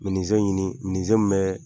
ɲini min bɛ